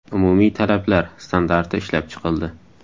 Umumiy talablar” standarti ishlab chiqildi.